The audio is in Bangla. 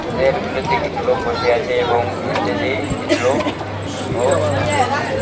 চেয়ারগুলোতে কিছু লোক বসে আছে এবং এস্টেজে কিছু লোক অক-বসে আছে।